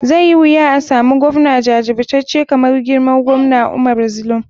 Zai yi wuya asamu govna jajircace kamar mai girma govna umara zulum.